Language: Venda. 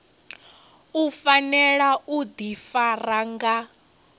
u fanela u ḓifara nga